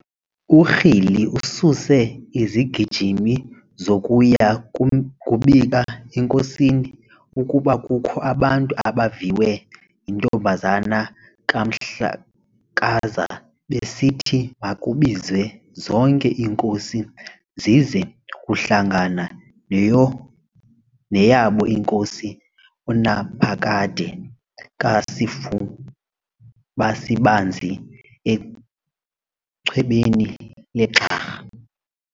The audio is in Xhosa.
URhili ususe izigijimi zokuya kubika enkosini, ukuba kukho abantu abaviwe yintombazana kaMhlakaza besithi makubizwe zonke iinkosi zize kuhlangana neyabo inkosi uNaphakade kaSifubasibanzi echwebeni leGxarha.